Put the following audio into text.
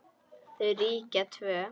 Þau ríkja tvö.